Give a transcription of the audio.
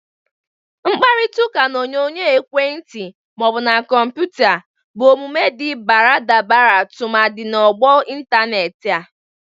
Mkparitaụka n'onyonyo ekwentị ma ọ bụ na kọmpụta bụ omume dị baradabara tụmadị na ọgbọ ịntanetị a.